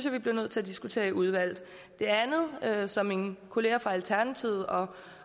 vi bliver nødt til at diskutere i udvalget det andet som mine kollegaer fra alternativet og